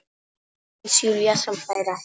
Aðeins Júlía sem hlær ekki.